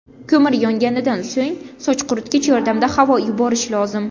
Ko‘mir yonganidan so‘ng soch quritgich yordamida havo yuborish lozim.